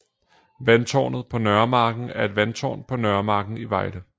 Vandtårnet på Nørremarken er et vandtårn på Nørremarken i Vejle